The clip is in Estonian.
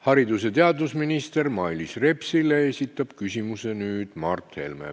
Haridus- ja teadusminister Mailis Repsile esitab nüüd küsimuse Mart Helme.